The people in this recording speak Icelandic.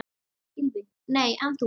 Gylfi: Nei en þú?